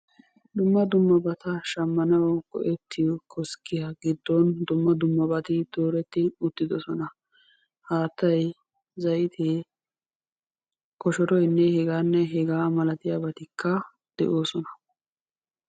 Dumma dummabata shammanawu go"ettiyo koskkiya giddon dumma dummabati dooretti uttiddossona. Haattay, zayttee, koshoroynne hegaanne hegaa malatiyabattikka de'oosona.